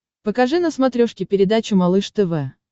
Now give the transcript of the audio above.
покажи на смотрешке передачу малыш тв